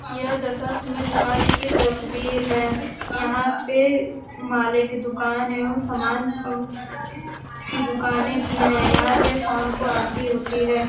यह दस दशाश्मेध घाट की तस्वीर है। यहाँ पे माले की दुकान है। उन सामान की दुकानें भी हैं। यहाँ पे शाम को आरती होती है।